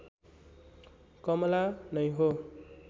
कमला नै हो